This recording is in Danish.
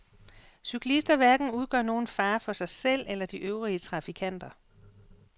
Cyklister hverken udgør nogen fare for sig selv eller de øvrige trafikanter.